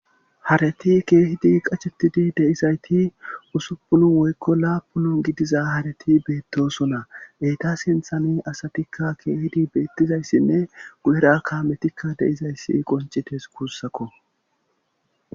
Hareti keehidi qachettidi deizayti usuppun woykko laapuno gidiza hareti beettosona eeta sinthane asatikka keehidi beettizayssinne gu7eraa kametikka deizayssi qoncites guussakko